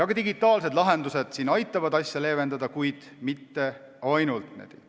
Digitaalsed lahendused aitavad probleemi leevendada, kuid ainult nendest ei piisa.